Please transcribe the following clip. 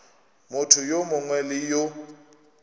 motho yo mongwe le yo